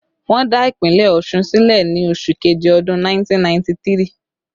Wọ́n dá ìpínlẹ̀ Ọ̀ṣun sílẹ̀ ni oṣù keje ọdún 1993